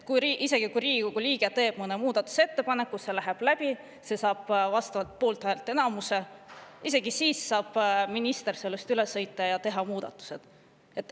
Isegi kui Riigikogu liige teeb mõne muudatusettepaneku ja see läheb läbi, see saab poolthäälteenamuse, isegi siis saab minister sellest üle sõita ja teha muudatused.